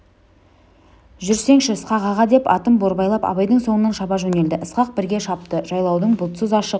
жүрсеңші ысқақ аға деп атын борбайлап абайдың соңынан шаба жөнелді ысқақ бірге шапты жайлаудың бұлтсыз ашық